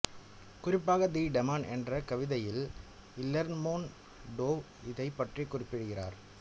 குறிப்பாக the Demon என்ற கவிதையில் இலெர்மொண்டோவ் இதைப் பற்றி குறிப்பிடுகிறார்